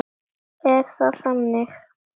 Er það þannig?